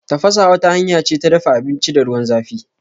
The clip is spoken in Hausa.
Tafasa wata hanya ce ta dafa abinci da ruwan zãfi.